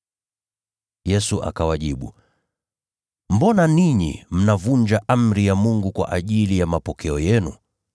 Yesu akawajibu, “Mbona ninyi mnavunja amri ya Mungu kwa ajili ya mapokeo yenu?